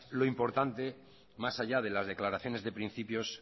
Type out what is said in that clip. lo importante más allá de las declaraciones de principios